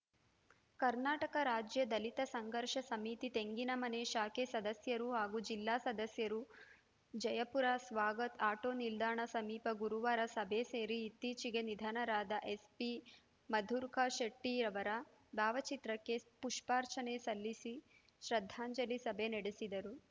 ಕರ್ನಾಟಕ ರಾಜ್ಯ ದಲಿತ ಸಂಘರ್ಷ ಸಮಿತಿ ತೆಂಗಿನಮನೆ ಶಾಖೆ ಸದಸ್ಯರು ಹಾಗೂ ಜಿಲ್ಲಾ ಸದಸ್ಯರು ಜಯಪುರ ಸ್ವಾಗತ್‌ ಆಟೋ ನಿಲ್ದಾಣ ಸಮೀಪ ಗುರುವಾರ ಸಭೆ ಸೇರಿ ಇತ್ತೀಚೆಗೆ ನಿಧನರಾದ ಎಸ್‌ಪಿ ಮಧುರಕ ಶೆಟ್ಟಿಯವರ ಭಾವಚಿತ್ರಕ್ಕೆ ಪುಷ್ಪಾರ್ಚನೆ ಸಲ್ಲಿಸಿ ಶ್ರದ್ದಾಂಜಲಿ ಸಭೆ ನಡೆಸಿದರು